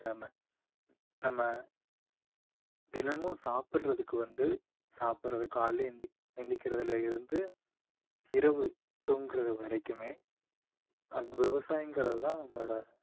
நம்ம தினமும் சாப்பிடுறதுக்கு வந்து சாப்பிடுறது காலையில எந்த்~ எந்திக்கிறதுல இருந்து இரவு தூங்குறது வரைக்குமே அக்~ விவசாயங்குறது தான் நம்மளோட